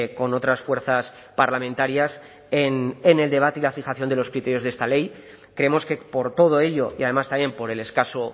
con otras fuerzas parlamentarias en el debate y la fijación de los criterios de esta ley creemos que por todo ello y además también por el escaso